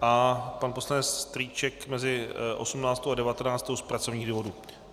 a pan poslanec Strýček mezi 18. a 19. z pracovních důvodů.